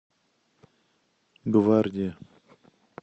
гвардия